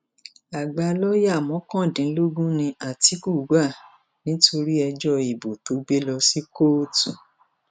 àgbà lọọyà mọkàndínlógún ni àtìkú gbà nítorí ẹjọ ìbò tó gbé lọ sí kóòtù